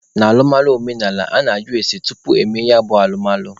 N'alụmalụ omenaala, a na-ajụ ese tupu emee ya bụ alụmalụ.